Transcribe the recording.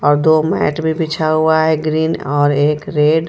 और दो मैट भी बिछा हुआ है ग्रीन और एक रेड .